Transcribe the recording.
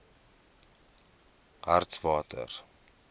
hartswater